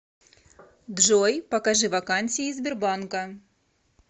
джой покажи вакансии сбербанка